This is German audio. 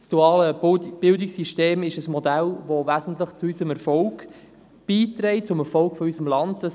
Das duale Bildungssystem ist ein Modell, das wesentlich zu unserem Erfolg beiträgt, zum Erfolg unseres Landes.